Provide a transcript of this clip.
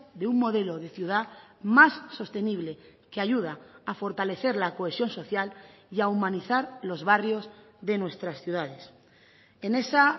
de un modelo de ciudad más sostenible que ayuda a fortalecer la cohesión social y a humanizar los barrios de nuestras ciudades en esa